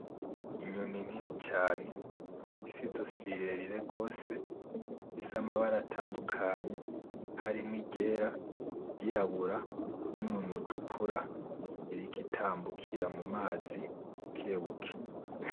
Inyoni nini cane ifise izosi rirerire gose ifise amabara tandukanye harimwo iryera iryirabura n’umunwa utukura iriko itambukira ku mazi bukebuke.